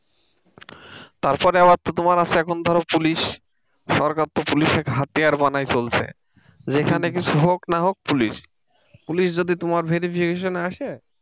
তারপর আবার তো তোমার আছে এখন ধরো পুলিশ সরকার তো পুলিশকে হাতিয়ার বানাই চলছে যেখানে কিছু হোক না হোক পুলিশ। পুলিশ যদি তোমার verification এ আসে,